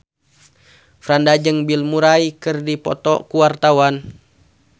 Franda jeung Bill Murray keur dipoto ku wartawan